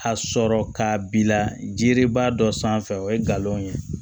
A sɔrɔ k'a bila jiriba dɔ sanfɛ o ye galon ye